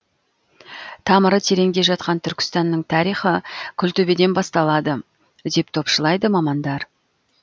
тамыры тереңде жатқан түркістанның тарихы күлтөбеден басталады деп топшылайды мамандар